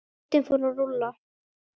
Boltinn fór að rúlla.